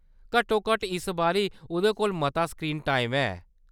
घट्टोघट्ट इस बारी उʼदे कोल मता स्क्रीन टाइम है।